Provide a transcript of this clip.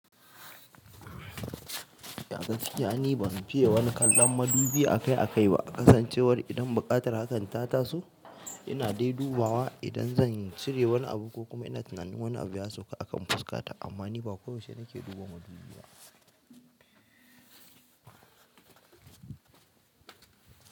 Ya gaskiya ba zan fiye wani kallon madubi akai-akai ba, kasancewar idan buƙatar hakan ta taso, ina dai dubawa idan zan cire wani abu ko kuma ina tunanin wani abu ya sauka a kan fuskata. Amma ni ba ko yaushe nake duba madubi ba.